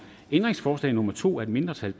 ændringsforslag nummer to af et mindretal